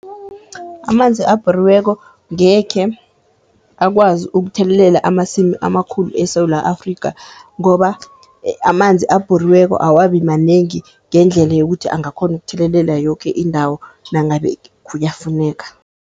Amanzi abhoriweko ngekhe akwazi ukuthelelela amasimi amakhulu eSewula Afrikha, ngoba amanzi abhoriweko awabi manengi ngendlela yokuthi angakhona ukuthelelela yoke indawo nangabe kuyafuneka.